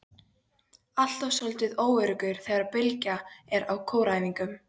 Alltaf soldið óöruggur þegar Bylgja er á kóræfingum.